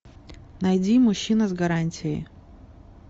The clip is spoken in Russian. найди мужчина с гарантией